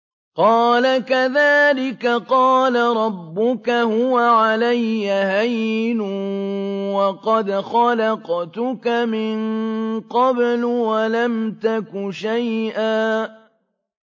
قَالَ كَذَٰلِكَ قَالَ رَبُّكَ هُوَ عَلَيَّ هَيِّنٌ وَقَدْ خَلَقْتُكَ مِن قَبْلُ وَلَمْ تَكُ شَيْئًا